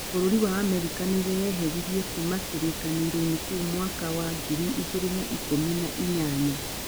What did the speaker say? Bũrũri wa Amerika nĩweyeheririe kuuma kĩrĩkanĩroinĩ kĩu mwaka wa ngiri igĩrĩ na ikũmi na inyanya.